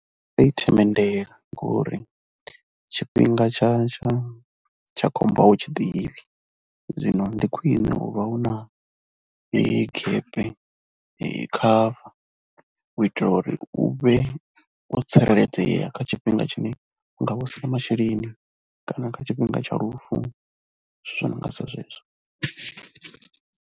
Ndi nga i themendela ngori tshifhinga tsha tsha tsha khombo a u tshi ḓivhi, zwino ndi khwine u vha u na gap cover u itela uri u vhe wo tsireledzea kha tshifhinga tshine u nga vha u si na masheleni kana kha tshifhinga tsha lufu zwithu zwo no nga sa zwezwo.